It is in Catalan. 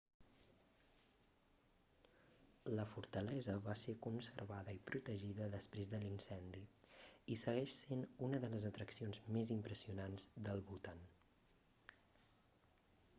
la fortalesa va ser conservada i protegida després de l'incendi i segueix sent una de les atraccions més impressionants del bhutan